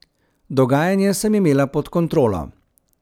Dogajanje sem imela pod kontrolo.